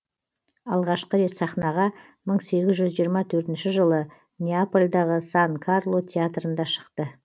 алғашқы рет сахнаға мың сегіз жүз жиырма төртінші жылы неапольдағы сан карло театрында шықты